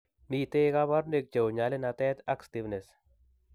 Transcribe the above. Miten kabarunaik cheuu nyalunatet ak stiffness